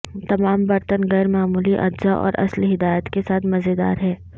تمام برتن غیر معمولی اجزاء اور اصل ہدایت کے ساتھ مزیدار ہیں